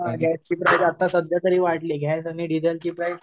हं गॅसची प्राईस आता सध्या तरी वाढली गॅस आणि डिझेलची प्राईस